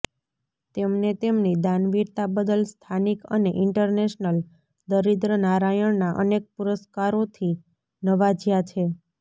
તેમને તેમની દાનવીરતા બદલ સ્થાનિક અને ઇન્ટરનેશનલ દરિદ્રનારાયણના અનેક પૂરસ્કારોથી નવાજયા છે